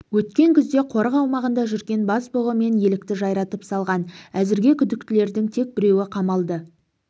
өткен күзде қорық аумағында жүрген бас бұғы мен елікті жайратып салған әзірге күдіктілердің тек біреуі қамалды